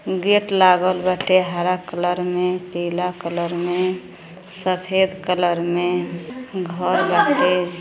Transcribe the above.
Gate लागल बाटे हरा कलर में पीला कलर में सफ़ेद कलर में घर बाटे।